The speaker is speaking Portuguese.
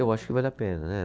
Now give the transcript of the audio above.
Eu acho que vale a pena, né?